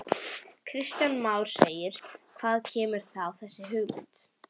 Kristján Már: Hvaðan kemur þá þessi hugmynd?